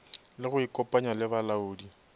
le go ikopanya le balaodi